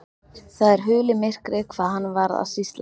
Það er hulið myrkri hvað hann var að sýsla.